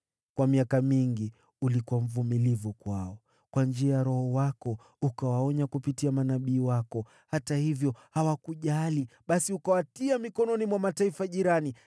Kwa miaka mingi ulikuwa mvumilivu kwao. Kwa njia ya Roho wako ukawaonya kupitia manabii wako. Hata hivyo hawakujali, basi ukawatia mikononi mwa mataifa jirani.